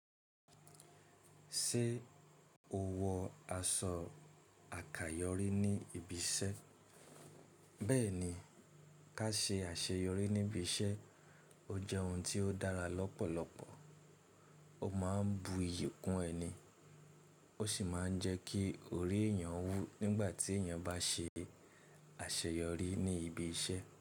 Ṣé o wọ aṣọ àkayòrí ní ibi iṣẹ́? Bẹ́ẹ̀ni, ká ṣe àṣeyọrí níbi iṣẹ́, ó jẹ́ ohun tí ó dára lọ́pọ̀lọpọ̀. Ó máa ń bu iyì kún ẹni, ó sì máa ń jẹ́ kí orí èèyàn wú nígbà tí èèyàn bá ṣe àṣeyọrí ní ibi iṣẹ́.